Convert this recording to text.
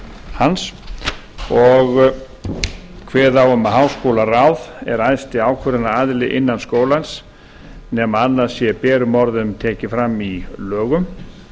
hans og kveðið á um að háskólaráð er æðsti ákvörðunaraðili innan skólans nema annað sé berum orðum tekið fram í lögum